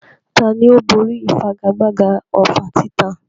Tani ó borí ìfigagbága ọfà títa?